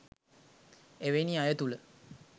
එවැනි අය තුළ